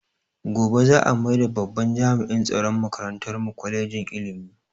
Gobe za a maida babban jami'in tsaron makarantar mu kwalejin ilimi